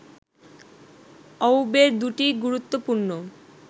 অউবের দুটি গুরুত্বপূর্ণ